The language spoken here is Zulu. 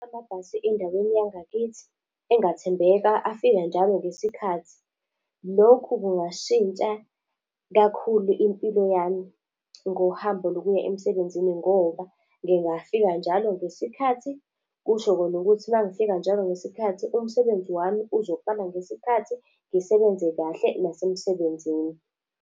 Amabhasi endaweni yangakithi, engathembeka afika njalo ngesikhathi. Lokhu kungashintsha kakhulu impilo yami ngohambo lokuya emsebenzini ngoba ngingafika njalo ngesikhathi, kusho kona ukuthi uma ngifika njalo ngesikhathi umsebenzi wami uzoqala ngesikhathi ngisebenze kahle nasemsebenzini.